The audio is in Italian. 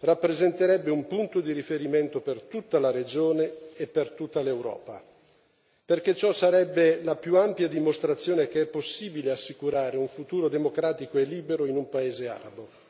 rappresenterebbe un punto di riferimento per tutta la regione e per tutta l'Europa, perché ciò sarebbe la più ampia dimostrazione che è possibile assicurare un futuro democratico e libero in un paese arabo.